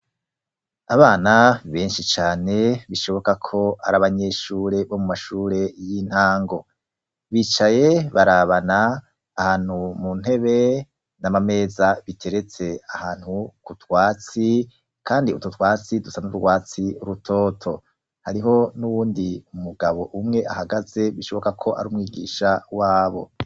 Abana benshi cane bishoboka ko ari abanyeshure bo mu mashure y'intango, bicaye barabana ahantu mu ntebe n'amameza biteretse ahantu ku twatsi kandi ututwatsi dusa n'urwatsi rutoto, hariho n'uwundi umugabo umwe ahagaze bishoboka ko ari umwigisha wabo.